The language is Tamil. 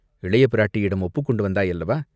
இளைய பிராட்டியிடம் ஒப்புக் கொண்டு வந்தாயல்லவா?